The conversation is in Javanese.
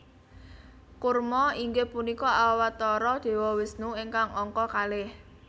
Kurma inggih punika Awatara Dewa Wisnu ingkang angka kalih